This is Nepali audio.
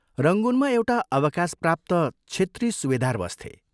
रंगूनमा एउटा अवकाशप्राप्त छेत्री सुबेदार बस्थे।